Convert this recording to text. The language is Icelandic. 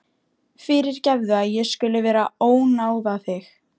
Fyrirgefðu að ég skuli vera að ónáða þig.